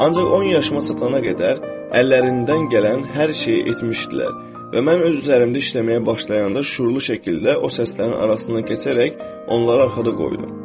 Ancaq 10 yaşıma çatana qədər, əllərindən gələn hər şeyi etmişdilər və mən öz üzərimdə işləməyə başlayanda şüurlu şəkildə o səslərin arasına keçərək onları arxada qoydum.